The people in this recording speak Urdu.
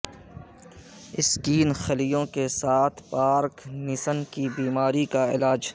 سٹیم خلیوں کے ساتھ پارکنسن کی بیماری کا علاج